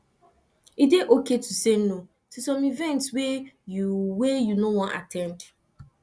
e dey okay to say no to some events wey you wey you no wan at ten d